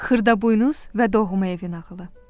Xırdaboynuz və Doğma evi nağılı.